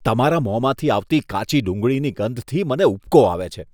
તમારા મોંમાંથી આવતી કાચી ડુંગળીની ગંધથી મને ઉબકો આવે છે.